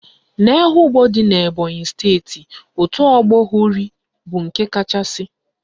N'Ehugbo dị n'Ebonyi steeti, otu ọgbọ Hori bụ nke kachasị